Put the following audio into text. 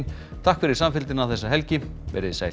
takk fyrir samfylgdina þessa helgi verið þið sæl